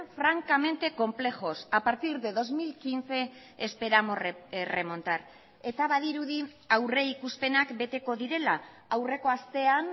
francamente complejos a partir de dos mil quince esperamos remontar eta badirudi aurrikuspenak beteko direla aurreko astean